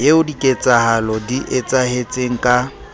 eo diketsahalo di etsahetseng ka